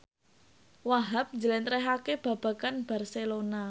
Wahhab njlentrehake babagan Barcelona